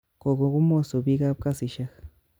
Kokogomoso bik kap kasisyek